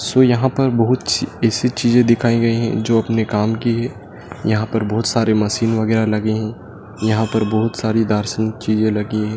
सो यहां पर बहोत ऐसी चीजें दिखाई गए है जो अपने काम की है। यहां पे बहोत सारे मशीन वगैरा लगे हैं। यहां पर बहोत सारी दर्शन चीजे लगी है।